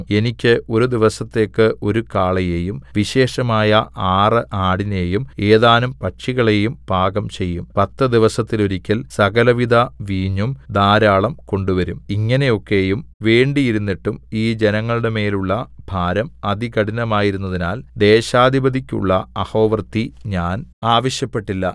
എനിക്ക് ഒരു ദിവസത്തേയ്ക്ക് ഒരു കാളയെയും വിശേഷമായ ആറ് ആടിനെയും ഏതാനും പക്ഷികളെയും പാകം ചെയ്യും പത്ത് ദിവസത്തിൽ ഒരിക്കൽ സകലവിധ വീഞ്ഞും ധാരാളം കൊണ്ടുവരും ഇങ്ങനെയൊക്കെയും വേണ്ടിയിരുന്നിട്ടും ഈ ജനങ്ങളുടെ മേലുള്ള ഭാരം അതികഠിനമായിരുന്നതിനാൽ ദേശാധിപതിക്കുള്ള അഹോവൃത്തി ഞാൻ ആവശ്യപ്പെട്ടില്ല